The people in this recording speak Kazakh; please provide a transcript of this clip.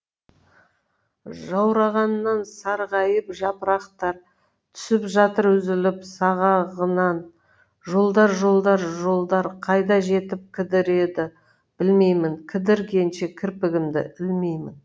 жаурағаннан сарғайып жапырақтар түсіп жатыр үзіліп сағағынан жолдар жолдар жолдар қайда жетіп кідіреді білмеймін кідіргенше кірпігімді ілмеймін